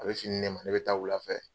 A bɛ fini di nɛ ma ne bɛ taa wula fɛ.